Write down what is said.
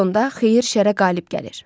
Sonda xeyir şərə qalib gəlir.